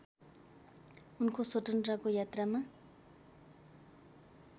उनको स्वतन्त्रताको यात्रामा